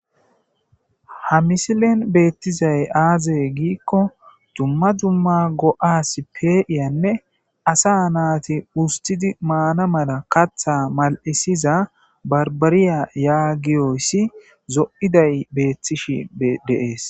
ha misilen beettizay aazey giikko dumma dumma go7as pee7iyanne asa naati ustidi maana mala katha mal7isiza barbariya yaagiyoyssi zo7iday beettishi deees